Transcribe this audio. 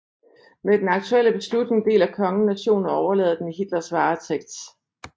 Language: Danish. Med den aktuelle beslutning deler kongen nationen og overlader den i Hitlers varetægt